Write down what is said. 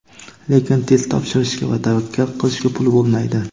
Lekin test topshirishga va tavakkal qilishga puli bo‘lmaydi.